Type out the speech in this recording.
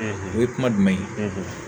o ye kuma jumɛn ye